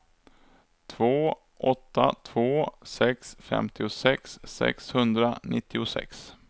två åtta två sex femtiosex sexhundranittiosex